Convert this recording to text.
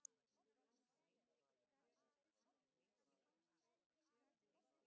Hversu mikilvæg er tónlistin fyrir þig í náminu?